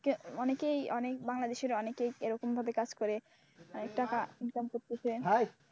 অনেকেই অনেক বাংলাদেশের অনেকেই এরকম ভাবে কাজ করে টাকা ইনকাম করতেছেন।